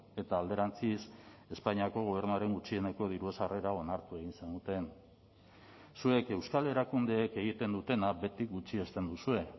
eta alderantziz espainiako gobernuaren gutxieneko diru sarrera onartu egin zenuten zuek euskal erakundeek egiten dutena beti gutxiesten duzue